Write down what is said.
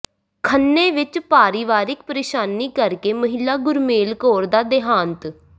ਖੰਨੇ ਵਿੱਚ ਪਰਿਵਾਰਿਕ ਪਰੇਸ਼ਾਨੀ ਕਰਕੇ ਮਹਿਲਾ ਗੁਰਮੇਲ ਕੌਰ ਦਾ ਦੇਹਾਂਤ